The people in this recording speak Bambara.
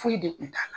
Foyi de kun t'a la